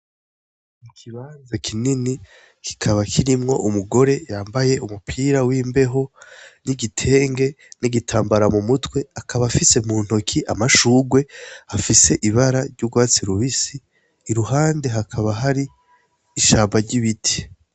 Ikibanza kinini kikaba kirimwo umugore yambaye umupira w' imbeho n' igitenge n' igitambara mumutwe akaba afise amashugwe afise ibara ry'ugwatsi rubisi iruhande hakaba hari ishamba ry' ibiti.